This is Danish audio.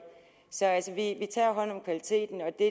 så altså vi tager hånd om kvaliteten og det